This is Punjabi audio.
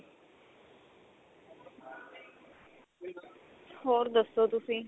ਹੋਰ ਦੱਸੋ ਤੁਸੀਂ